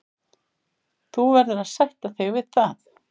Þú verður að sætta þig við það.